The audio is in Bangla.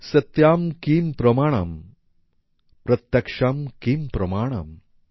সত্যম্ কিম প্রমানম্ প্রত্যক্ষম কিম প্রমানম